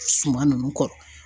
Suma ninnu kɔrɔ.